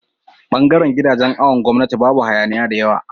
bangaran gidajan awon gwamnati Babu hayaniya da yawa